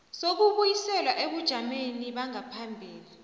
sokubuyiselwa ebujameni bangaphambilini